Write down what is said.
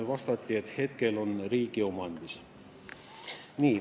Vastati, et praegu on see riigi omandis.